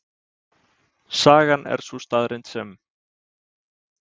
Sagan er sú staðreynd sem.